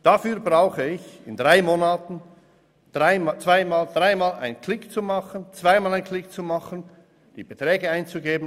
Dafür muss ich in drei Monaten dreimal einen Klick machen, dann zweimal einen Klick, und dann muss ich die Beträge eingeben.